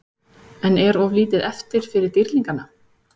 En er of lítið eftir fyrir Dýrlingana?